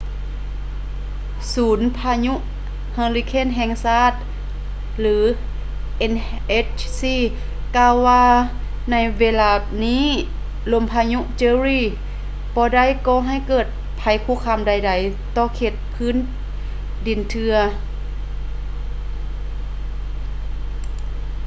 ສູນພາຍຸເຮີລິເຄນແຫ່ງຊາດ nhc ກ່າວວ່າໃນເວລານີ້ລົມພາຍຸ jerry ບໍ່ໄດ້ກໍ່ໃຫ້ເກີດໄພຄຸກຄາມໃດໆຕໍ່ເຂດພື້ນດິນເທື່ອ